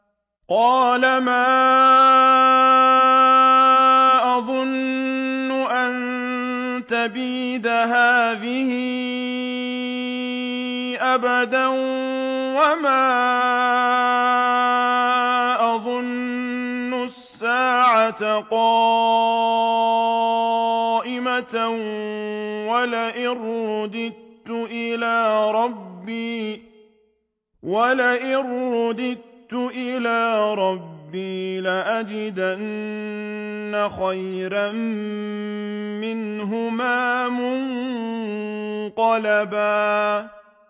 وَمَا أَظُنُّ السَّاعَةَ قَائِمَةً وَلَئِن رُّدِدتُّ إِلَىٰ رَبِّي لَأَجِدَنَّ خَيْرًا مِّنْهَا مُنقَلَبًا